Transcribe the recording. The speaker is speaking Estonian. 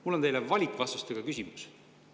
Mul on teile valikvastustega küsimus.